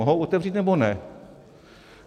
Mohou otevřít, nebo ne?